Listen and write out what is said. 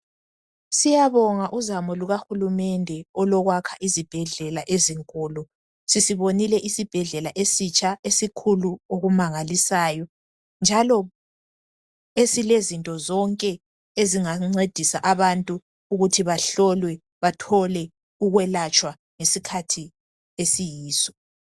Siyabonga uzamo Luka hulumede lokwakha izibhedlela ezinkulu sisibonile isibhedlela esikhulu okumangalisayo njalo esilezinto zonke ezingancedisa abantu ukuthi bahlolwe bathole ukwelatshwa ngesikhathi esiyiso.